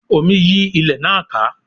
Omi yí ilé náà ká